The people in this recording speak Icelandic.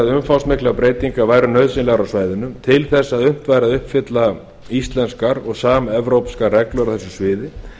umfangsmiklar breytingar væru nauðsynlegar á svæðinu til þess að unnt væri að uppfylla íslenskar og samevrópskar reglur á þessu sviði